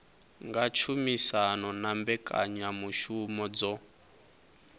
nga tshumisano na mbekanyamushumo dzo